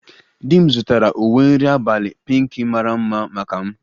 Di m zụtara uwe nri abalị pinkị mara mma maka m